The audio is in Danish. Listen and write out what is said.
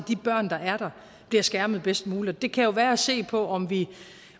de børn der er der bliver skærmet bedst muligt det kan jo være se på